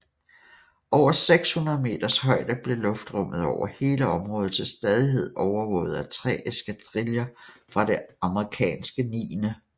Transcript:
Over 600 meters højde blev luftrummet over hele området til stadighed overvåget af tre eskadriller fra det amerikanske 9